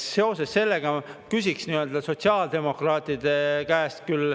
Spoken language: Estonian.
Seoses sellega ma küsiksin küll selle kohta sotsiaaldemokraatide käest.